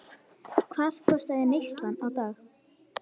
Hvað kostaði neyslan á dag?